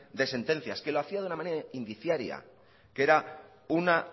de sentencias que lo hacía de una manera indiciaria que era una